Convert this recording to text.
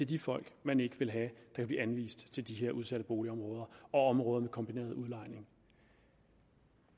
de folk man ikke vil have kan blive anvist til de udsatte boligområder og områder med kombineret udlejning